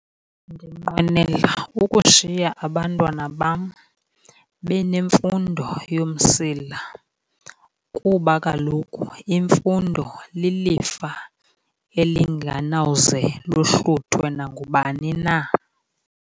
Ndinqwenela ukushiya abantwana bam benemfundo yomsila kuba kaloku imfundo lilifa elinganawuze lohluthwe nangubani na.